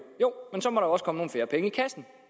men så må der også komme færre penge i kassen